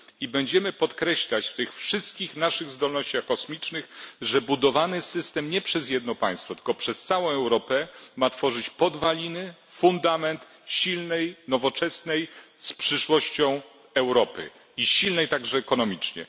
Będziemy też podkreślać w tych wszystkich naszych zdolnościach kosmicznych, że budowany system nie przez jedno państwo, tylko przez całą Europę ma tworzyć podwaliny, fundament silnej, nowoczesnej, z przyszłością Europy, która będzie silna także ekonomicznie.